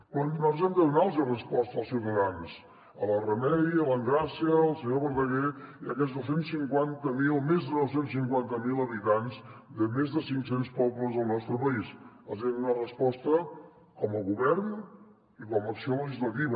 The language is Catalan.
però nosaltres hem de donar los resposta als ciutadans a la remei a l’engràcia al senyor verdaguer i a aquests més de dos cents i cinquanta miler habitants de més de cinccents pobles del nostre país els hi hem de donar resposta com a govern i com a acció legislativa